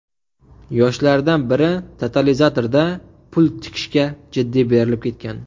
Yoshlardan biri totalizatorda pul tikishga jiddiy berilib ketgan.